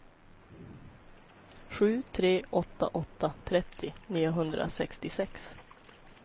sju tre åtta åtta trettio niohundrasextiosex